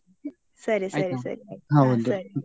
ಸರಿ ಸರಿ .